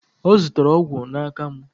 Ọ zụtara ọgwụ n'aka mụ.